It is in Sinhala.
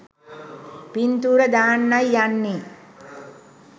පින්තූර දාන්නයි යන්නේ.